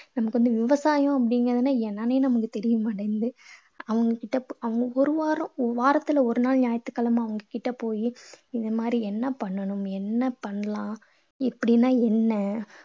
எனக்கு வந்து விவசாயம் அப்படீங்கறதுன்னா என்னன்னே நமக்கு தெரிய மாட்டேங்குது. அவங்க கிட்ட அவங்க ஒரு வாரம் வாரத்துல ஒரு நாள் ஞயாயிற்று கிழமை அவங்க கிட்ட போயி இந்த மாதிரி என்ன பண்ணணும்? என்ன பண்ணலாம்? இப்படின்னா என்ன?